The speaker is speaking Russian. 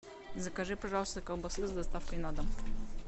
закажи пожалуйста колбасы с доставкой на дом